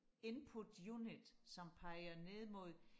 input unit som peger ned mod